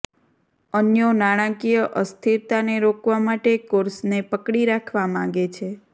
અન્યો નાણાકીય અસ્થિરતાને રોકવા માટે કોર્સને પકડી રાખવા માગે છે